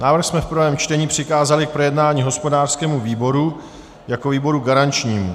Návrh jsme v prvém čtení přikázali k projednání hospodářskému výboru jako výboru garančnímu.